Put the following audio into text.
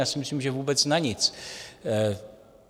Já si myslím, že vůbec na nic.